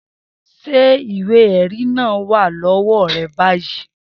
Se iwe eri naa wa lowo re bayii?